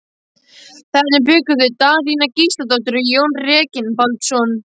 Þarna bjuggu þau Daðína Gísladóttir og Jón Reginbaldsson.